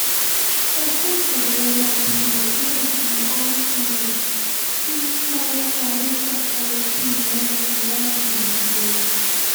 ọ̀gọ̀jẹ̀ àwọn ọmọbìnrin nàìjíríà ti há um sí saudi arabia ẹrú ni wọ́n ń fi wọ́n um ṣe